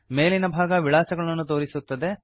ಮೇಲಿನ ಭಾಗ ವಿಳಾಸಗಳನ್ನು ತೋರಿಸುತ್ತದೆ